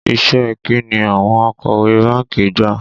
Iṣẹ́ ẹ kín ni àwọn akọ̀wé báńkì gbà?